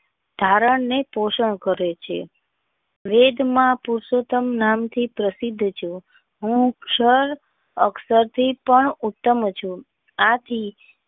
ધારણ ને પોષણ કરે છે વેદ માં પુરષોતમ નામ થી પ્રસિદ્ધ છે હું ક્ષય અક્ષય થી પણ ઉત્તમ છું આથી.